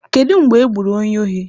Kedu mgbe e gburu onye ohi?